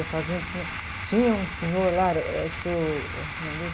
A fazenda tinha... Tinha um senhor lá, era, eh, o senhor... O nome dele?